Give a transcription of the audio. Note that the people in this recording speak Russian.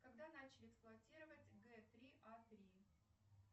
когда начали эксплуатировать г три а три